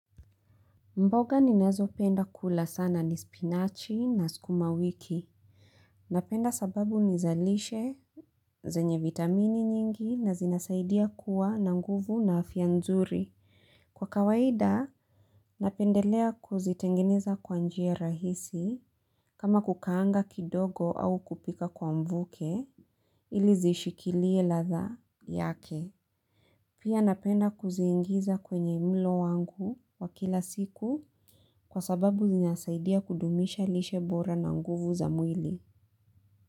Mboga ninazopenda kula sana ni spinachi na sukuma wiki. Napenda sababu ni za lishe. Zenye vitamini nyingi na zinasaidia kuwa na nguvu na afya nzuri. Kwa kawaida, napendelea kuzitengeneza kwa njia rahisi kama kukaanga kidogo au kupika kwa mvuke ili zishikilie ladha yake. Pia napenda kuziingiza kwenye mlo wangu wa kila siku kwa sababu zinasaidia kudumisha lishe bora na nguvu za mwili.